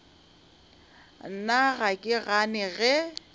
nna ga ke gane ge